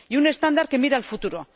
Y un estándar que mire al futuro.